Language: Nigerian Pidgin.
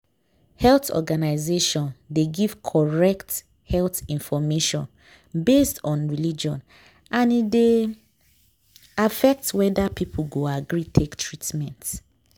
health organization dey give correct health info based on religion and e dey affect whether people go agree take treatment.